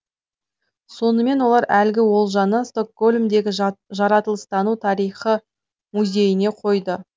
сонымен олар әлгі олжаны стокгольмдегі жаратылыстану тарихы музейіне қойды